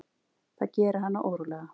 Það gerir hana órólega.